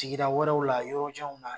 Sigida wɛrɛw la yɔrɔjanw na.